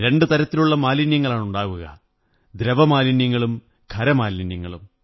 രണ്ടു തരത്തിലുള്ള മാലിന്യങ്ങളാണുണ്ടാവുക ദ്രവമാലിന്യങ്ങളും ഖരമാലിന്യങ്ങളും